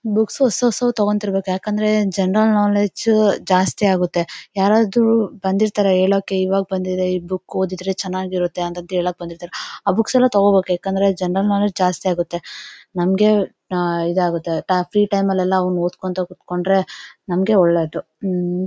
books ಹೊಸ ಹೊಸವ್ ತಗೊಂತಿರಬೇಕು ಯಾಕಂದ್ರೆ ಜನರಲ್ ನೊಲೆಜ್ ಜಾಸ್ತಿ ಆಗುತ್ತೆ ಯಾರಾದ್ರೂ ಬಂದಿರ್ತಾರೆ ಹೇಳೋಕೆ ಈವಾಗ್ ಬಂದಿದೆ ಈ ಬುಕ್ ಓದಿದ್ರೆ ಚೆನ್ನಾಗಿರುತ್ತೆ ಅಂತ್ನ್ಥ್ ಹೇಳೋಕೆ ಬಂದಿರ್ತಾರೆ ಆ ಬುಕ್ಸ್ ಎಲ್ಲಾ ತಗೋಬೇಕುಯಾಕಂದ್ರೆ ಜನರಲ್ ನೊಲೆಜ್ ಜಾಸ್ತಿ ಆಗುತ್ತೆ ನಮಗೆ ಇದಾಗುತ್ತೆ ಫ್ರೀ ಟೈಮೆ ಲ್ಲಿ ಓಡ್ಕೊಂತಾ ಕುತ್ಕೊಂಡ್ರೆ ನಮಗೆ ಒಳ್ಳೇದು ಮ್--